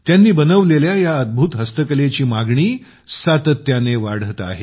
त्याने बनवलेल्या या अद्भुत हस्तकलेची मागणी सातत्याने वाढत आहे